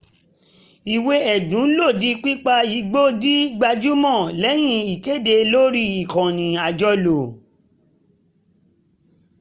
ìwé ẹ̀dùn lòdì pípa igbó di gbajúmọ̀ lẹ́yìn ìkéde lórí ìkànnì àjọlò